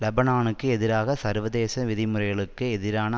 லெபனானுக்கு எதிராக சர்வதேச விதிமுறைகளுக்கு எதிரான